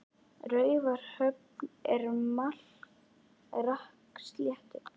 Raufarhöfn er á Melrakkasléttu.